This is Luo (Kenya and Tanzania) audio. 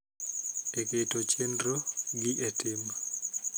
E keto chenro gi e tim